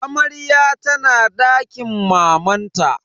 Amaryar tana dakin mamanta.